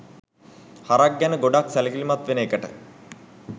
හරක් ගැන ගොඩක් සැලකිලිමත් වෙන එකට